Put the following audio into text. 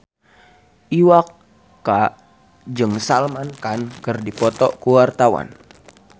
Iwa K jeung Salman Khan keur dipoto ku wartawan